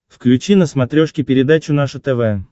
включи на смотрешке передачу наше тв